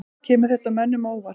Kemur þetta mönnum á óvart?